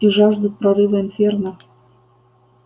и жаждут прорыва инферно